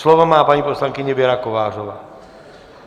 Slovo má paní poslankyně Věra Kovářová.